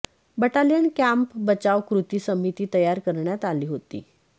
battalion camp बचाव कृती समिती तयार करण्यात आली होती